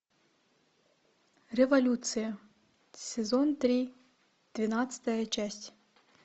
революция сезон три двенадцатая часть